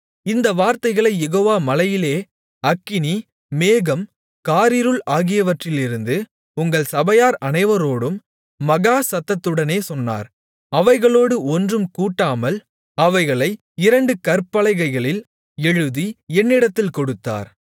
இந்த வார்த்தைகளைக் யெகோவா மலையிலே அக்கினி மேகம் காரிருள் ஆகியவற்றிலிருந்து உங்கள் சபையார் அனைவரோடும் மகா சத்தத்துடனே சொன்னார் அவைகளோடு ஒன்றும் கூட்டாமல் அவைகளை இரண்டு கற்பலகைகளில் எழுதி என்னிடத்தில் கொடுத்தார்